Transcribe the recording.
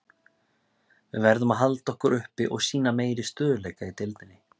Við verðum að halda okkur uppi og sýna meiri stöðugleika í deildinni.